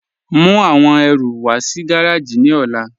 Mú awọn ẹ̀rù wà sí gàràjì ni ọ̀là.